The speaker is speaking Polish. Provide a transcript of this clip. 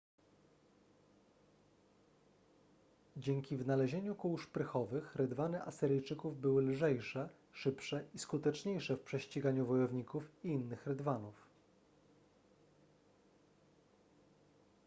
dzięki wynalezieniu kół szprychowych rydwany asyryjczyków były lżejsze szybsze i skuteczniejsze w prześciganiu wojowników i innych rydwanów